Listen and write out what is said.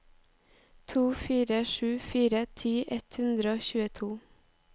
to fire sju fire ti ett hundre og tjueto